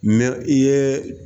i ye